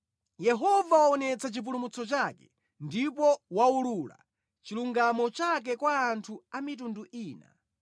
Yehova waonetsa chipulumutso chake ndipo waulula chilungamo chake kwa anthu a mitundu ina.